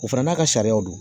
O fana n'a ka sariyaw don